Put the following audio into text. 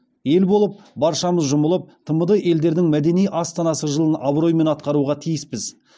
ел болып баршамыз жұмылып тмд елдердің мәдени астанасы жылын абыроймен атқаруға тиіспіз